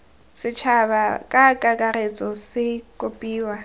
setšhaba ka kakaretso se kopiwa